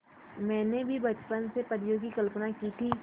मैंने भी बचपन से परियों की कल्पना की थी